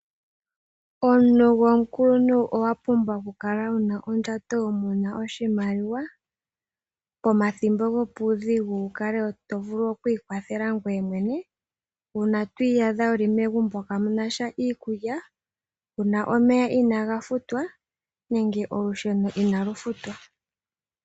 Omuntu gomukuluntu owa pumbwa okukala wu na ondjato muna oshimaliwa, pomathimbo gopuudhigu wu kale wo to vulu oku ikwathela ngoye mwene, uuna to iyadha wuli megumbo kamuna sha iikulya, puna omeya inaaga futwa nenge olusheno inali futwa.